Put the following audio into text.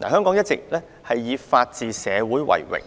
香港一直以作為法治社會為榮；